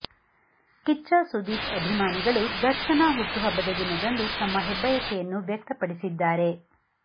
ಕಿಚ್ಚ ಸುದೀಪ್ ಅಭಿಮಾನಿಗಳು ದರ್ಶನ ಹುಟ್ಟು ಹಬ್ಬದ ದಿನದಂದು ತಮ್ಮ ಹೆಬ್ಬಯಕೆಯನ್ನು ವ್ಯಕ್ತ ಪಡಿಸಿದ್ದಾರೆ